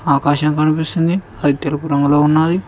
ఆకాశం కనిపిస్తుంది అది తెలుపు రంగులో ఉన్నాది.